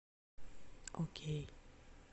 окей